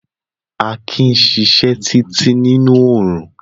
Akin sisẹ́ títí nínú orún